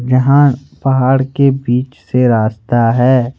यहां पहाड़ के बीच से रास्ता है ।